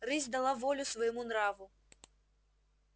рысь дала волю своему нраву